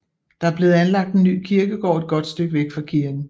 Der er blevet anlagt en ny kirkegård et godt stykke væk fra kirken